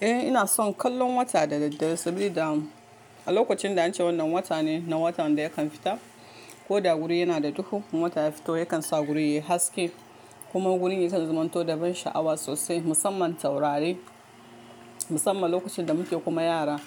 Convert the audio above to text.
Eh ina son kallon wata da daddare sabilida a lokacin da ance wannan wata ne na watan da yakan fita koda wuri yana da duhu. Wata ya fito yakan sa wuri yayi haske kuma wurin yakan zamanto da ban sha'awa sosai musamman taurari. Musamman lokacin da muke kuma yara.